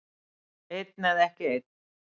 Einn eða ekki einn.